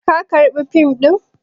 Ka karɓa fim ɗin?